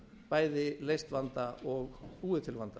bæði leyst vanda og búið til vanda